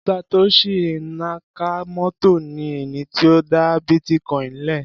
Satoshi Nakamoto ni ẹni tí ó dá bítíkoìnì le.